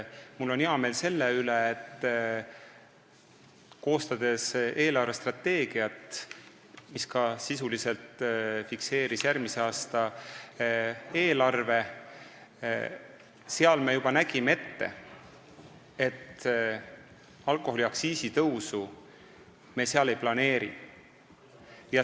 Mul on hea meel selle üle, et koostades eelarvestrateegiat, mis sisuliselt fikseerib ka järgmise aasta eelarve, me juba nägime ette, et sinna me alkoholiaktsiisi tõusu ei planeeri.